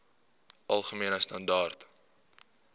algemene standaar